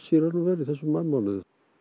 í þessum maímánuði